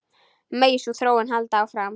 Megi sú þróun halda áfram.